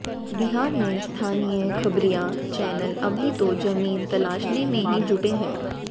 बिहार में स्थानीय खबरिया चैनल अभी तो जमीन तलाशने में ही जुटे हैं